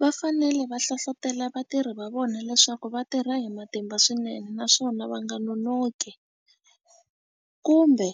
Va fanele va hlohlotelo vatirhi va vona leswaku va tirha hi matimba swinene naswona va nga nonoki kumbe